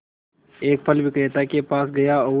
एक फल विक्रेता के पास गया और